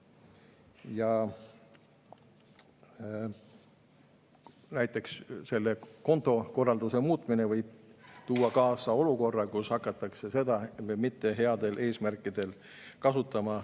Ja see kontokorralduse muutmine võib tuua kaasa olukorra, kus hakatakse mitte headel eesmärkidel kasutama.